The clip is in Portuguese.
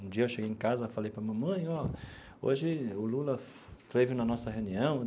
Um dia eu cheguei em casa e falei para a mãe mãe ó, hoje o Lula foi esteve na nossa reunião.